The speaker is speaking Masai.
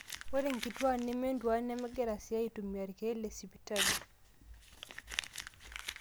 ore inkituaak nementuaan nemegira sii aaitumia irkeek lesipitali